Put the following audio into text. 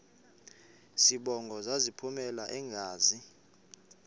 zibongo zazlphllmela engazi